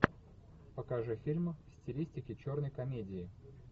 покажи фильм в стилистике черной комедии